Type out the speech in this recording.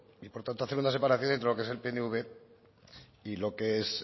y por tanto hacer una separación entre lo que es el pnv y lo que son